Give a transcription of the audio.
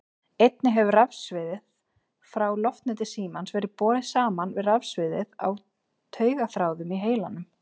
Einnig hefur rafsviðið frá loftneti símans verið borið saman við rafsviðið á taugaþráðum í heilanum.